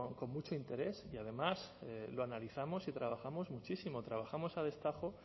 con mucho interés y además lo analizamos y trabajamos muchísimo trabajamos a destajo